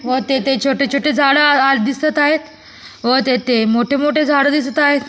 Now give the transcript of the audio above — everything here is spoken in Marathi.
व तेथे छोटे छोटे झाडं आ दिसत आहेत व तिथे मोठे मोठे झाडं दिसत आहेत.